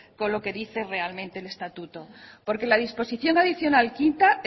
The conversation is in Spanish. con lo que dice realmente el estatuto porque la disposición adicional quinta